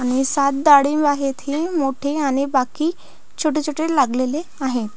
आणि डाळिंब आहेत हे मोठे आणि बाकी छोटे छोटे लागलेले आहेत.